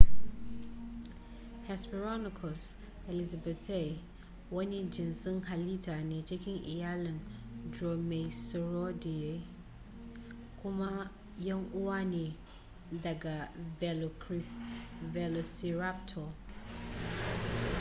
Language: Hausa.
hesperonychus elizabethae wani jinsin halitta ne cikin iyalin dromaeosauridae kuma yan uwa ne ga velociraptor